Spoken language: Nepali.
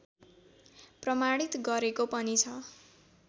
प्रमाणित गरेको पनि छ